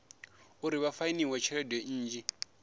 uri vha fainiwe tshelede nnzhi